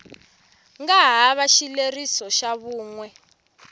nga hava xileriso xa vun